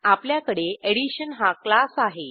आपल्याकडे एडिशन हा क्लास आहे